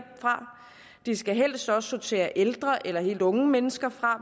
fra de skal helst også sortere ældre eller helt unge mennesker fra